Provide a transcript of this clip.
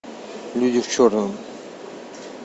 люди в черном